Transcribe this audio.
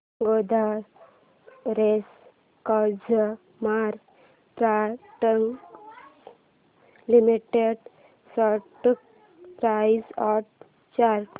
Godrej consumer products limited stock price and chart